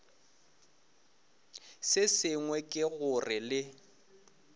se sengwe ke gore le